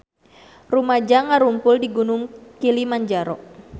Rumaja ngarumpul di Gunung Kilimanjaro